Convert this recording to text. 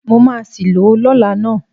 Mo máa sì lò ó lọ́la ná.